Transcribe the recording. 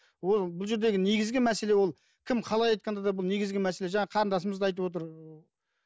ол бұл жердегі негізгі мәселе ол кім қалай айтқанда да бұл негізгі мәселе жаңа қарындасымыз да айтып отыр